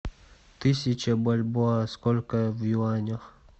тысяча бальбоа сколько в юанях